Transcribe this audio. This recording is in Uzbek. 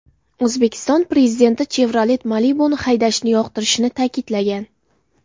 O‘zbekiston Prezidenti Chevrolet Malibu’ni haydashni yoqtirishini ta’kidlagan.